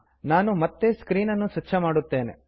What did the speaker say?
ನಾನು ಮತ್ತೆ ಸ್ಕ್ರೀನ್ ಅನ್ನು ಸ್ವಚ್ಛ ಮಾಡುತ್ತೇನೆ